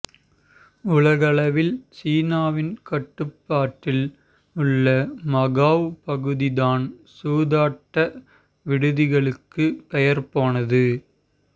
உலகளவில் சீனாவின் கட்டுப்பாட்டில் உள்ள மகாவ் பகுதி தான் சூதாட்ட விடுதிகளுக்கு பெயர் போனது